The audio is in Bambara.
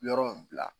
Yɔrɔ in bila